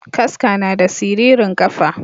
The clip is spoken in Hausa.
Kaska nada siririn kafa.